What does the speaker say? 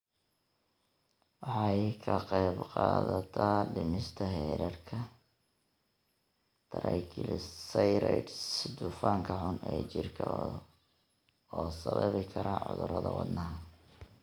Waxay ka qaybqaadataa dhimista heerarka triglycerides, dufanka xun ee jirka oo sababi kara cudurrada wadnaha.